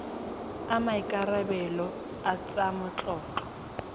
a maikarebelo a tsa matlotlo